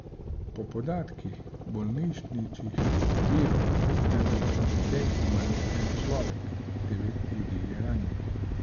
Po podatkih bolnišničnih virov naj bi pri tem umrl en človek, devet ljudi je ranjenih.